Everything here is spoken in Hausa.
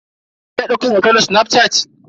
Kina daukan hoto da snafshat?